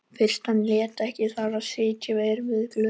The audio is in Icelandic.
Fyrst hann lét ekki þar við sitja erum við öll glötuð.